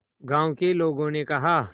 गांव के लोगों ने कहा